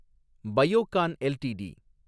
Biocon LTD